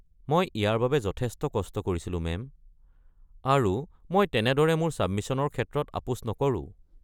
মই ইয়াৰ বাবে যথেষ্ট কষ্ট কৰিছিলো মেম, আৰু মই তেনেদৰে মোৰ ছাবমিছনৰ ক্ষেত্ৰত আপোচ নকৰো।